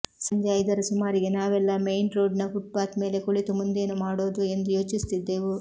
ಸಂಜೆ ಐದರ ಸುಮಾರಿಗೆ ನಾವೆಲ್ಲ ಮೇಯ್ನ್ ರೋಡ್ನ ಫುಟ್ಪಾತ್ ಮೇಲೆ ಕುಳಿತು ಮುಂದೇನು ಮಾಡೋದು ಎಂದು ಚಿಂತಿಸುತ್ತಿದ್ದೆವು